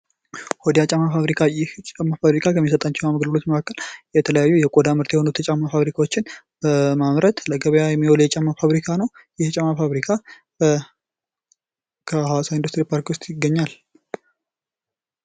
ቆዳ ጫማ ፋብሪካ ይህ ጫማ ፋብሪካ ከሚሰጣቸው አገልግሎቶች መካከል የተለያዩ የቆዳ ምርት የሆኑ የጫማ ፋብሪካዎችን በማምረት ለገቢያ የሚውል የጫማ ፋብሪካ ነው ። ይህ የጫማ ፋብሪካ ከሀዋሳ ኢንዱስትሪ ፖርክ ውስጥ ይገኛል ።